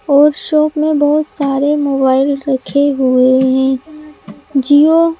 और शॉप में बहुत सारे मोबाइल रखे हुए हैं जिओ --